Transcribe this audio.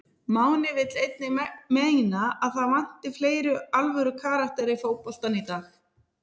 Máni vill einnig meina að það vanti fleiri alvöru karaktera í fótboltann í dag.